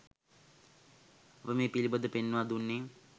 අප මේ පිළිබඳ ව පෙන්වා දුන්නේ